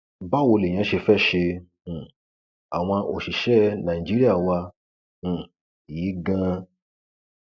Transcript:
báwo lèèyàn ṣe fẹẹ ṣe um àwọn òṣìṣẹ ẹ ní nàìjíríà wa um yìí ganan